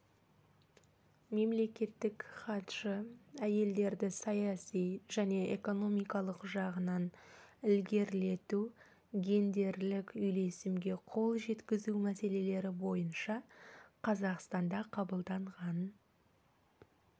мемлекеттік хатшы әйелдерді саяси және экономикалық жағынан ілгерілету гендерлік үйлесімге қол жеткізу мәселелері бойынша қазақстанда қабылданған